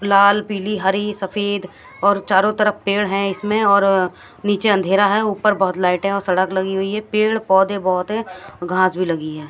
लाल पीली हरी सफेद और चारों तरफ पेड़ है इसमें और नीचे अंधेरा है ऊपर बहोत लाइटे है और सड़क लगी हुई है पेड़ पौधे बहोत है घास भी लगी है।